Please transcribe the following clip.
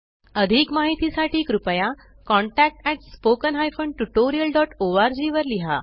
अधिक माहिती साठी कृपया contactspoken tutorialorg वर लिहा